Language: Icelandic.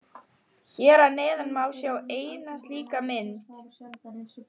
Hér að neðan má sjá eina slíka mynd.